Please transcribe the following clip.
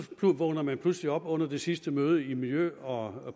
vågner man pludselig op under det sidste møde i miljø og